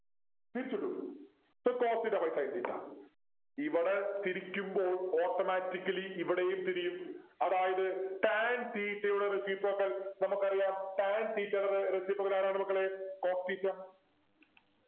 തിരിച്ചിട് so Cos theta by sin theta ഇവിടെ തിരിക്കുമ്പോൾ Automatically ഇവിടെയും തിരിയും അതായത് tan theta യുടെ Reciprocal നമുക്കറിയാം tan theta യുടെ റെ Reciprocal ആരാണ് മക്കളെ cot theta